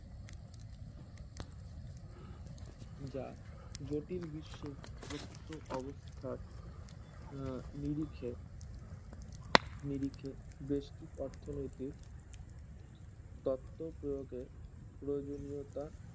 যা জটিল বিশ্বে প্রকৃত অবস্থার আহ নিরুখে নিরিখে বেস্টিক অর্থনৈতিক তত্ত্ব প্রয়োগে প্রয়োজনীয়তা